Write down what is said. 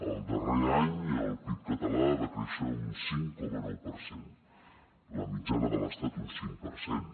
el darrer any el pib català va créixer un cinc coma nou per cent la mitjana de l’estat un cinc per cent